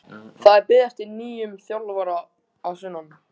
Það er beðið eftir nýjum þjálfara að sunnan.